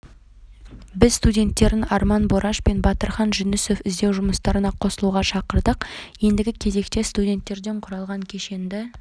біз студенттерін арман бораш мен батырхан жүнісов іздеу жұмыстарына қосылуға шақырдық ендігі кезекте студенттерден құралған кешенді